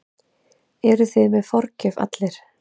Eruð þið með forgjöf allir?